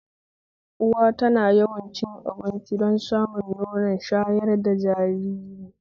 Uwa tana yawan cin abinci don samun nono shayar da jajiri